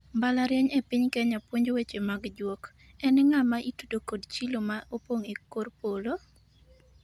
mbalariany e piny Kenya puonjo weche mag juok ,en ng'a ma itudo kod chilo ma opong' e kor polo?